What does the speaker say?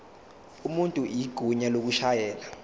umuntu igunya lokushayela